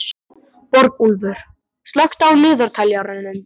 Borgúlfur, slökktu á niðurteljaranum.